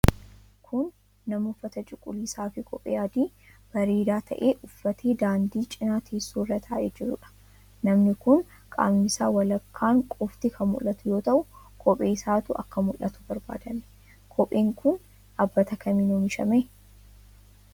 Kun, nama uffata cuquliisa fi kophee adii bareedaa ta'e uffatee daandii cinaa teessoo irra taa'ee jiruudha. Namni kun, qaamni isaa walakkaan qofti kan mul'atu yoo ta'u, kophee isaatu akka mul'atu barbaadame. Kopheen kun, dhaabbata kamiin oomishame?